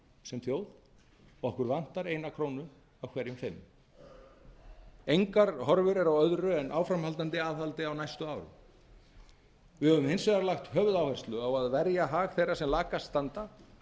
sem þjóð okkur vantar eina krónu af hverjum fimm engar horfur eru á öðru en áframhaldandi aðhaldi á næstu árum við höfum hins vegar lagt höfuðáherslu á að verja hag þeirra sem lakast standa